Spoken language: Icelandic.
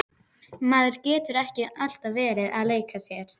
Maður getur ekki alltaf verið að leika sér.